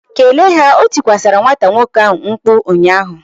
Greet them! O tikwasi nwata nwoke ahu mkpu ụnyaahụ